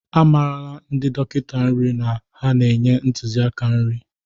Amarala ndi dọkịta nri na ha na-enye ntụzịaka nri.